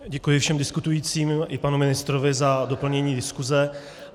Děkuji všem diskutujícím i panu ministrovi za doplnění diskuse.